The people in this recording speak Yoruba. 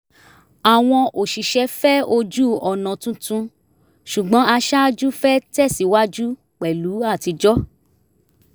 àwọn òṣìṣẹ́ fẹ́ ojú-ọ̀nà tuntun ṣùgbọ́n aṣáájú fẹ́ tẹ̀síwájú pẹ̀lú atijọ́